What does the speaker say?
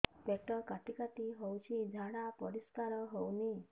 ପେଟ କାଟି କାଟି ହଉଚି ଝାଡା ପରିସ୍କାର ହଉନି